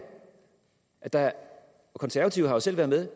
at der er og konservative har selv været med